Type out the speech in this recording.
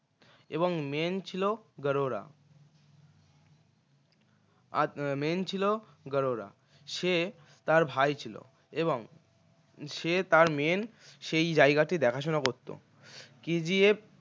এবং main ছিল গাড়ুরা আর main ছিল গাড়ুরা সে তার ভাই ছিল এবং সে তার main সেই জায়গাটি দেখাশোনা করত KGF